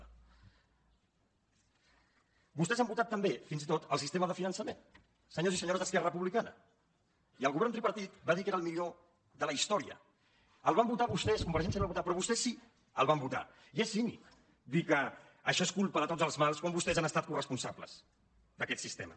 vostès han votat també fins i tot el sistema de finançament senyors i senyores d’esquerra republicana i el govern tripartit va dir que era el millor de la història el van votar vostès convergència no el va votar però vostès sí que el van votar i és cínic dir que això és culpa de tots els mals quan vostès han estat coresponsables d’aquest sistema